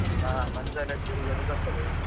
ಹಾ Mantralaya ದು ಗುರುಗಳು ಬರ್ತಾರೆ.